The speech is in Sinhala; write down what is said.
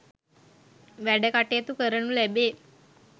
වැඩ කටයුතු කරනු ලැබේ.